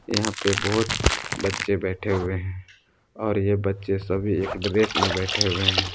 यहां पे बहुत बच्चे बैठे हुए हैं और यह बच्चे सभी एक ड्रेस में बैठे हुए हैं।